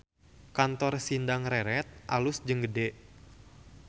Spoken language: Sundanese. Kantor Sindang Reret alus jeung gede